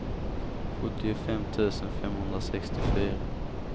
sjuttiofem tusen femhundrasextiofyra